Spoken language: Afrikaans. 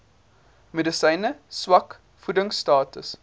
medisyne swak voedingstatus